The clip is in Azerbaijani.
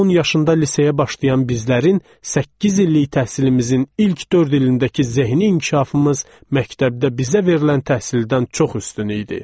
10 yaşında liseyə başlayan bizlərin səkkiz illik təhsilimizin ilk dörd ilindəki zehni inkişafımız məktəbdə bizə verilən təhsildən çox üstün idi.